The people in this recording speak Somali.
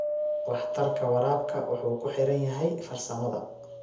Waxtarka waraabka wuxuu ku xiran yahay farsamada.